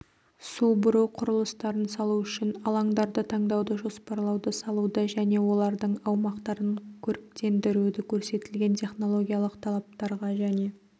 су бұру құрылыстарын салу үшін алаңдарды таңдауды жоспарлауды салуды және олардың аумақтарын көріктендіруді көрсетілген технологиялық талаптарға және